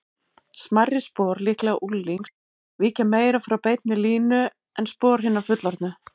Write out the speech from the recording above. Smærri spor, líklega unglings, víkja meira frá beinni línu en spor hinna fullorðnu.